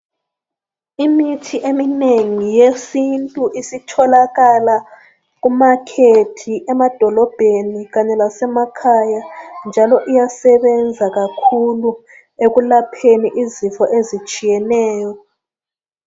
Imithi eminengi yesintu isitholakala kumakhethi, emadolobheni, kanye lasemakhaya, njalo, iyasebenza kakhulu, ekulapheni izifo ezitshiyeneyo.